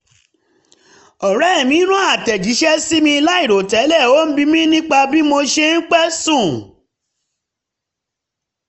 ọ̀rẹ́ mi ran àtẹ̀jíṣẹ́ sí mi láìròtẹ́lẹ̀ ó ń bi mi nípa bí mo ṣe ń pẹ́ sùn